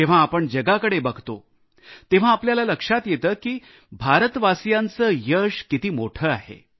जेव्हा आपण जगाकडे बघतो तेव्हा आपल्याला लक्षात येते की भारतवासियांचे यश किती मोठे आहे